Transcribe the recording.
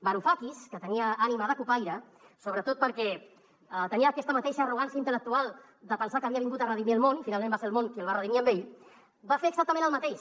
varoufakis que tenia ànima de cupaire sobretot perquè tenia aquesta mateixa arrogància intel·lectual de pensar que havia vingut a redimir el món finalment va ser el món qui el va redimir a ell va fer exactament el mateix